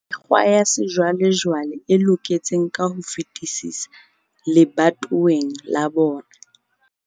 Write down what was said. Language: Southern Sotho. Mekgwa ya sejwalejwale e loketseng ka ho fetisisa lebatoweng la bona.